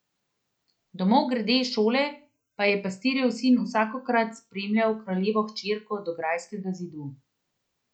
Domov grede iz šole pa je pastirjev sin vsakokrat spremljal kraljevo hčerko do grajskega zidu.